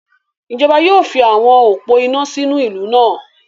Ijọba yóò fi awọn opó iná sínú ìlú náà